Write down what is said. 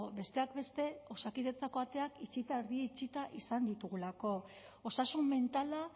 besteak beste osakidetzako ateak itxita erdi itxita izan ditugulako osasun mentala